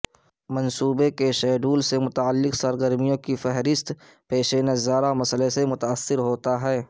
منصوبے کے شیڈول سے متعلق سرگرمیوں کی فہرست پیش نظارہ مسئلہ سے متاثر ہوتا ہے